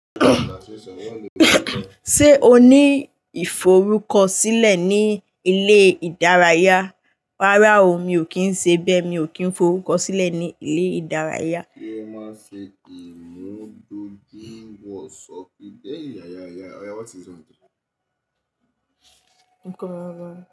Ṣé o ní ìforúkọ sílẹ̀ ní ilé ìdárayá? Rárá o, mi ò kí ń ṣe bẹ́ẹ̀, mi ò kí ń forúkọ sílẹ̀ ní ilé ìdárayá. Kí ẹ má ṣe kì í mú doju ń wọ sọ́ọ̀fì dé ìyàrá ẹ̀yà. Òyá, what's this one jẹ́? Nǹkan rárá.